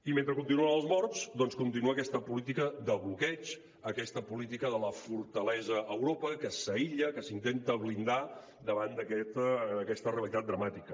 i mentre continuen els morts doncs continua aquesta política de bloqueig aquesta política de la fortalesa a europa que s’aïlla que s’intenta blindar davant d’aquesta realitat dramàtica